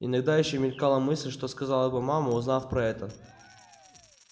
иногда ещё мелькала мысль что сказала бы мама узнав про это